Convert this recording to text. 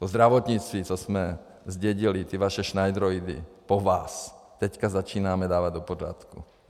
O zdravotnictví, co jsme zdědili ty vaše šnajdroidy po vás, teďka začínáme dávat do pořádku.